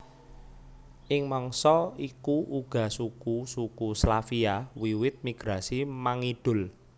Ing mangsa iku uga suku suku Slavia wiwit migrasi mangidul